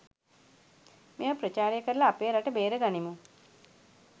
මේව ප්‍රචාරය කරල අපේ රට බේරගනිමු